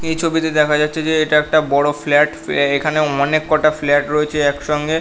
এই ছবি তে দেখা যাচ্ছে যে এটা একটা বড়ো ফ্ল্যাট । এখানে অনেক কটা ফ্ল্যাট রয়েছে একসঙ্গে ।